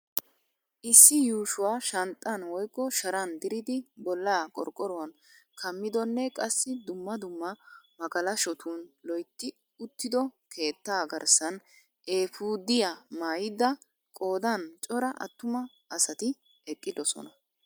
Issi yuushuwa shanxxan woykko sharan dirid bollaa qorqoruwan kammidonne qassi dumma dumma magalashotun loytti uttido keettaa garssaan eefudiya maayida qoodan cora attuma asat eqqidosonna.